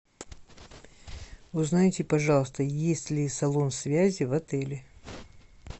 узнайте пожалуйста есть ли салон связи в отеле